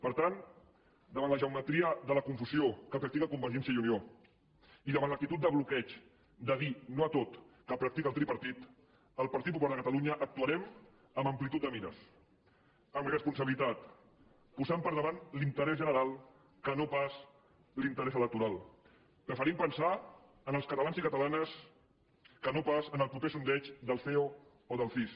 per tant davant la geometria de la confusió que practica convergència i unió i davant l’actitud de bloqueig de dir no a tot que practica el tripartit el partit popular de catalunya actuarem amb amplitud de mires amb responsabilitat posant per davant l’interès general i no pas l’interès electoral preferim pensar en els catalans i catalanes i no pas en el proper sondeig del ceo o del cis